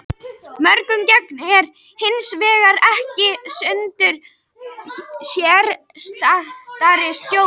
Mörg gen eru hins vegar ekki undir sérstakri stjórn.